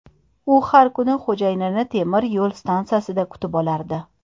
U har kuni xo‘jayinini temir yo‘l stansiyada kutib olardi.